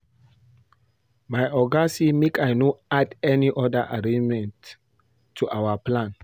My Oga say make I no add any other arrangement to our plan